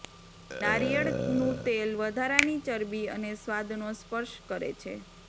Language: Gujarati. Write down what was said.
નારિયેળનું તેલ વધારાની ચરબી અને સ્વાદનો સ્પર્શ કરે છે